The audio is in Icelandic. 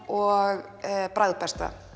og